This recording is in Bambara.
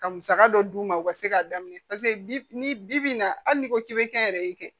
Ka musaka dɔ d'u ma u ka se k'a daminɛ bi ni bi bi in na hali n'i ko k'i be kɛnyɛrɛye kɛ